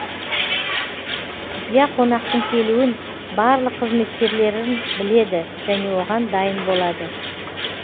құпия қонақтың келуін барлық қызметкерлерін біледі және оған дайын болады